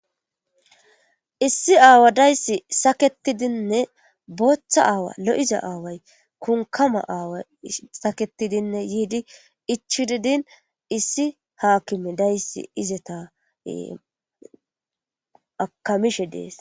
issi aawa dayssi saketidinne booththa aawa lo7iza aaway kunkama aawa saketidinne yiidi ichididin issi haakime dayssi izeta akamishe dees